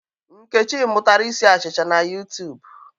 Nkechi mụtara isi achịcha na YuTub.